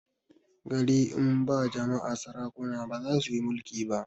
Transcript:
gari in ba jama'a sarakuna bazasuyi mulki ba